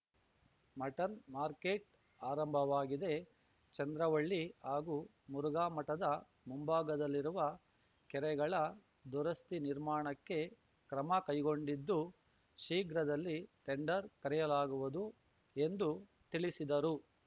mutton market ಆರಂಭವಾಗಿದೆ ಚಂದ್ರವಳ್ಳಿ ಹಾಗೂ ಮುರುಘಾಮಠದ ಮುಂಭಾಗದಲ್ಲಿರುವ ಕೆರೆಗಳ ದುರಸ್ತಿ ನಿರ್ಮಾಣಕ್ಕೆ ಕ್ರಮ ಕೈಗೊಂಡಿದ್ದು ಶೀಘ್ರದಲ್ಲಿ ಟೆಂಡರ್‌ ಕರೆಯಲಾಗುವುದು ಎಂದು ತಿಳಿಸಿದರು